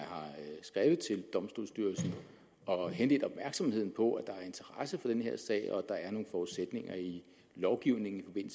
skrevet til domstolsstyrelsen og henledt opmærksomheden på at der er interesse for den her sag og at der er nogle forudsætninger i lovgivningen i